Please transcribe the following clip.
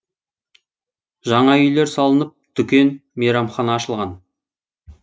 жаңа үйлер салынып дүкен мейрамхана ашылған